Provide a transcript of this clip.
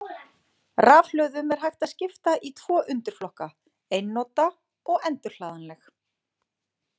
Rafhlöðum er hægt að skipta í tvö undirflokka, einnota og endurhlaðanleg.